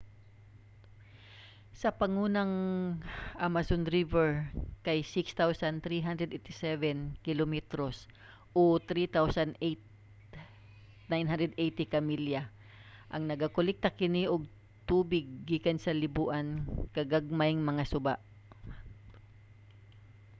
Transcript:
ang pangunang amazon river kay 6,387 kilometros 3,980 ka milya. nagakolekta kini og tubig gikan sa liboan ka gagmayng mga suba